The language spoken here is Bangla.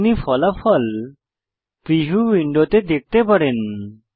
আপনি ফলাফল প্রিভিউ উইন্ডোতে দেখতে পারেন